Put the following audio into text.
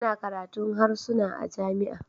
Tana karatun harsuna a jami'a